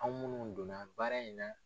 Anw munnu don na baara in na.